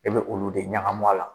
E bɛ olu de ɲagami a la